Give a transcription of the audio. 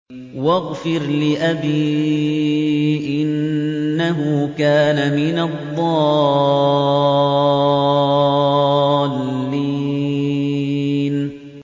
وَاغْفِرْ لِأَبِي إِنَّهُ كَانَ مِنَ الضَّالِّينَ